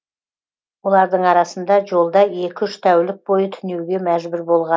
олардың арасында жолда екі үш тәулік бойы түнеуге мәжбүр болған